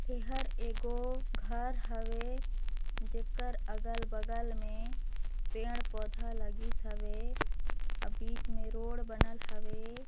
--इहर एगो घर हवै जेकर अगल बगल में पेड़ पौधे लगिस हवै अउ बीच में रोड बनल हवै।